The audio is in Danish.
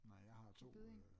Nej jeg har to øh